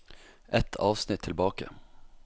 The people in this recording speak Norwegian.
Ett avsnitt tilbake